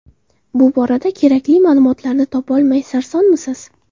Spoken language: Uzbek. Bu borada kerakli ma’lumotlarni topolmay sarsonmisiz?